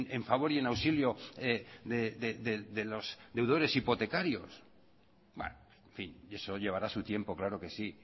en favor y auxilio de los deudores hipotecarios bueno en fin eso llevará su tiempo claro que sí